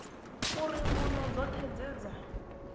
uri mbuno dzoṱhe dze dza